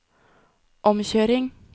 omkjøring